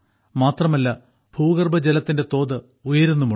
മാത്രല്ല ഭൂഗർഭജലത്തിന്റെ തോത് ഉയരുന്നുമുണ്ട്